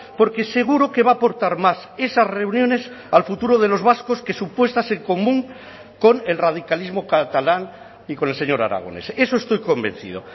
porque seguro que va a aportar más esas reuniones al futuro de los vascos que su puestas en común con el radicalismo catalán y con el señor aragonés eso estoy convencido